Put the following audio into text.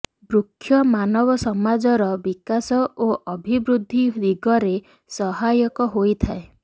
ବୃକ୍ଷ ମାନବ ସମାଜର ବିକାଶ ଓ ଅଭିବୃଦ୍ଧି ଦିଗରେ ସହାୟକ ହୋଇଥାଏ